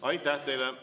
Aitäh teile!